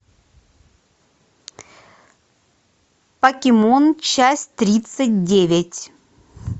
покемон часть тридцать девять